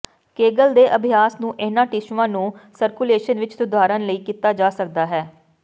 Kegel ਦੇ ਅਭਿਆਸ ਨੂੰ ਇਹਨਾਂ ਟਿਸ਼ੂਆਂ ਨੂੰ ਸਰਕੂਲੇਸ਼ਨ ਵਿੱਚ ਸੁਧਾਰਨ ਲਈ ਕੀਤਾ ਜਾ ਸਕਦਾ ਹੈ